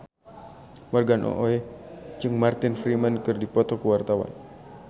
Morgan Oey jeung Martin Freeman keur dipoto ku wartawan